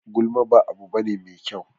Gulma ba abu bane mai kyau.